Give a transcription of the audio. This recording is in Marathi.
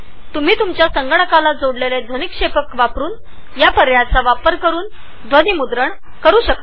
तुम्ही तुमच्या संगणकाला जोडलेल्या स्पीकरवरुन ऑडीओ रेकॉर्डींग करु शकता